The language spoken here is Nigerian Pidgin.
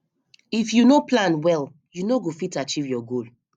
if you no plan well you no go fit achieve your goal